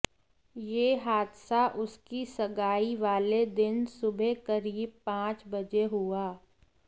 यह हादसा उसकी सगाई वाले दिन सुबह करीब पांच बजे हुआ